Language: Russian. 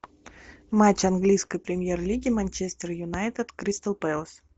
матч английской премьер лиги манчестер юнайтед кристал пэлас